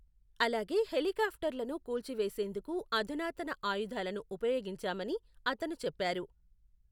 అలాగే హెలికాప్టర్లను కూల్చివేసేందుకు అధునాతన ఆయుధాలను ఉపయోగించామని అతను చెప్పారు.